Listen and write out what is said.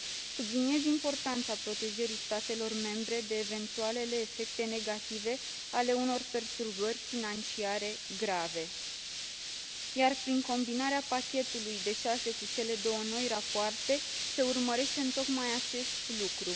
Subliniez importanța protejării statelor membre de eventualele efecte negative ale unor perturbări financiare grave, iar prin combinarea pachetului de șase cu cele două noi rapoarte se urmărește tocmai acest lucru.